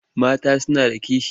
Mata suna da kishi.